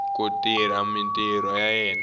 ku tirha mintirho ya yena